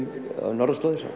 norðurslóðir